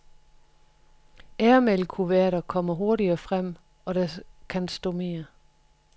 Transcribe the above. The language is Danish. Airmailkuverter kommer hurtigere frem og der kan stå mere.